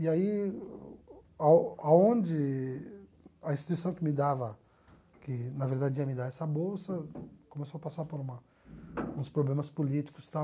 E aí, ao aonde a instituição que me dava, que na verdade ia me dar essa bolsa, começou a passar por uma uns problemas políticos e tal